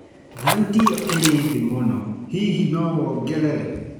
thauti iyo iri thi muno hihi nowongerere